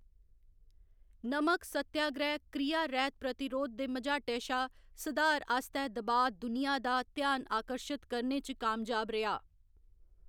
नमक सत्याग्रैह्‌‌ क्रिया रैह्‌‌त प्रतिरोध दे मझाटै शा सधार आस्तै दबाऽ दुनिया दा ध्यान आकर्शत करने च कामयाब रेहा।